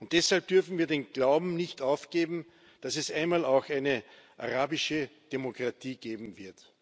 Deshalb dürfen wir den Glauben nicht aufgeben, dass es einmal auch eine arabische Demokratie geben wird.